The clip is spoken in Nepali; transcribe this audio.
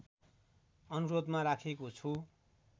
अनुरोधमा राखेको छु